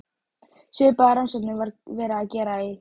Svipaðar rannsóknir var verið að gera í